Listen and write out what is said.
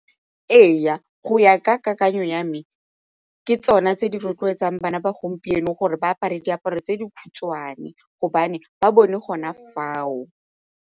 Ee, go ya ka kakanyo ya me ke tsona tse di rotloetsang bana ba gompieno gore ba apare diaparo tse dikhutshwane gobane ba bone gona fao.